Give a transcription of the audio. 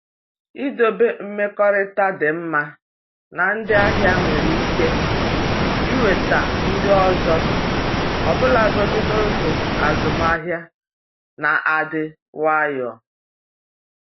Idobe mmekọrịta dị mma na ndị ahịa nwere ike iweta ndị ọzọ ọbụlagodi n’oge azụmahịa na-adị nwayọ.